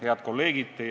Head kolleegid!